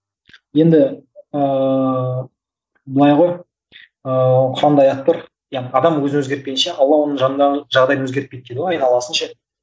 енді ыыы былай ғой ыыы құранда аят бар адам өзін өзгерпейінші алла оның жанындағын жағдайын өзгерпейді дейді ғой айналасын ше